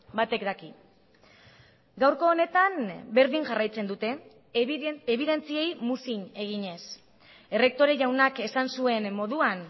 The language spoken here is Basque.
batek daki gaurko honetan berdin jarraitzen dute ebidentziei muzin eginez errektore jaunak esan zuen moduan